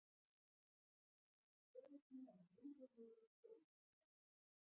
Hann tekur gleði sína um leið og við erum komin af stað.